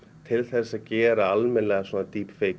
til þess að gera almennilega